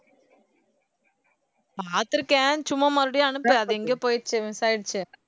பாத்துருக்கேன் சும்மா மறுபடியும் அனுப்பு அது எங்கேயோ போயிருச்சு miss ஆயிடுச்சு